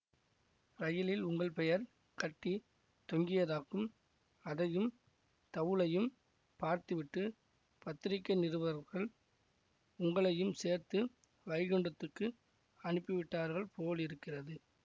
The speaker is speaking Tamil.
ரயிலில் உங்கள் பெயர் கட்டி தொங்கியதாக்கும் அதையும் தவுலையும் பார்த்துவிட்டுப் பத்திரிகை நிருபர்கள் உங்களையும் சேர்த்து வைகுண்டத்துக்கு அனுப்பிவிட்டார்கள் போலிருக்கிறது